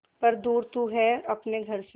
पर दूर तू है अपने घर से